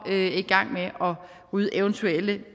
og er i gang med at rydde eventuelle